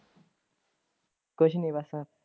ਕੁਝ ਨਹੀਂ ਬਸ।